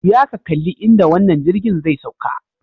Juya ka kalli inda wannan jirgin zai sauka.